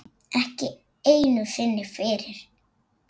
Ekki einu sinni fyrir